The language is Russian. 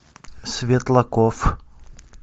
светлаков